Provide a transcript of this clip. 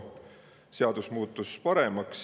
muutus paremaks.